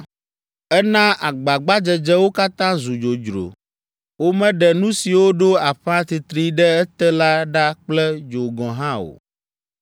Ena agbagbadzedzewo katã zu dzodzro; womeɖe nu siwo ɖo aƒa titri ɖe ete la ɖa kple dzo gɔ̃ hã o.